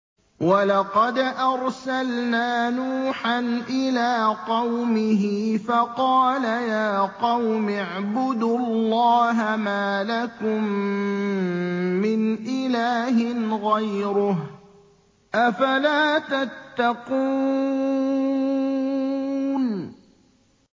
وَلَقَدْ أَرْسَلْنَا نُوحًا إِلَىٰ قَوْمِهِ فَقَالَ يَا قَوْمِ اعْبُدُوا اللَّهَ مَا لَكُم مِّنْ إِلَٰهٍ غَيْرُهُ ۖ أَفَلَا تَتَّقُونَ